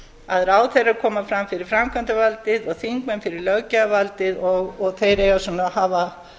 að ráðherrar koma fram fyrir framkvæmdarvaldið og þingmenn fyrir löggjafarvaldið og þeir eiga að